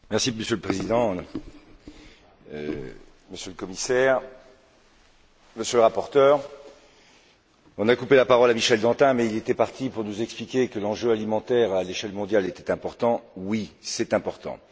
Monsieur le Président, Monsieur le Commissaire, Monsieur le rapporteur, on a coupé la parole à Michel Dantin, mais il allait nous expliquer que l'enjeu alimentaire à l'échelle mondiale était important oui, c'est important.